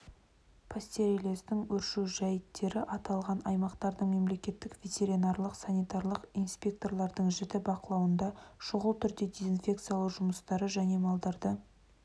пастереллездің өршу жәйттеріаталған аймақтардың мемлекеттік ветеринарлық-санитарлық инспекторлардың жіті бақылауында шұғыл түрде дезинфекциялау жұмыстары және малдарды